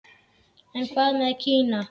En hvað með Kína?